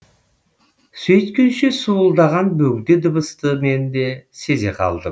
сөйткенше суылдаған бөгде дыбысты мен де сезе қалдым